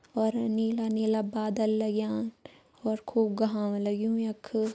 और नीला-नीला बादल लाग्यां और खूब घाम लगयूं यख।